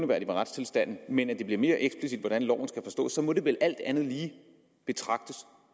ved retstilstanden men at det bliver mere eksplicit hvordan loven skal forstås må det vel alt andet lige betragtes